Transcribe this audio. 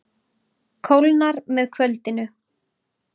Kólnar með kvöldinu